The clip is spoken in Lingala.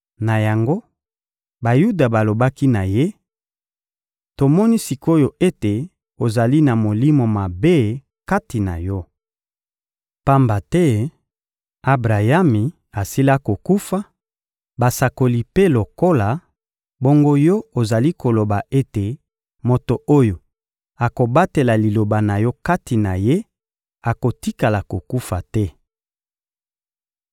Na yango, Bayuda balobaki na Ye: — Tomoni sik’oyo ete ozali na molimo mabe kati na yo! Pamba te Abrayami asila kokufa, basakoli mpe lokola; bongo yo ozali koloba ete moto oyo akobatela Liloba na yo kati na ye akotikala kokufa te!